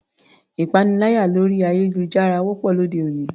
Ìpaniláyà lórí ayélujára wọ́pọ̀ lóde òní.